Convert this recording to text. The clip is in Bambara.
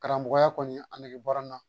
Karamɔgɔya kɔni a nege bɔra n na